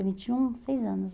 tem vinte e um, seis anos.